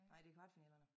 Nej det kvartfinalerne